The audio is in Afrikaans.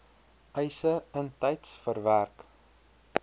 eise intyds verwerk